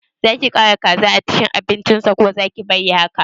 Zaki ƙara kaza a cikin abincin sa ko zaki bari haka